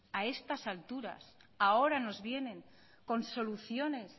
a estas alturas ahora nos vienen con soluciones